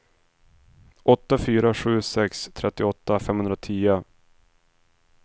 åtta fyra sju sex trettioåtta femhundratio